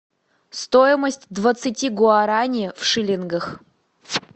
стоимость двадцати гуарани в шиллингах